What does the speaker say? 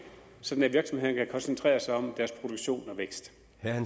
sådan at virksomhederne koncentrere sig om deres produktion og vækst